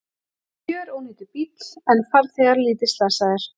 Gjörónýtur bíll en farþegar lítið slasaðir